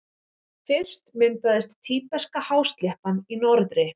Fyrst myndaðist Tíbeska-hásléttan í norðri.